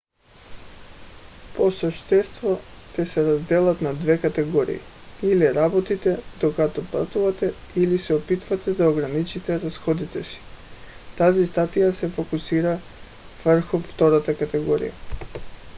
по същество те се разделят на две категории: или работите докато пътувате или се опитвате да ограничите разходите си. тази статия се фокусира върху втората категория